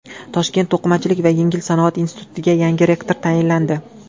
Toshkent to‘qimachilik va yengil sanoat institutiga yangi rektor tayinlandi.